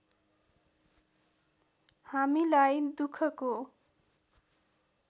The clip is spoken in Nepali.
हामीलाई दुखको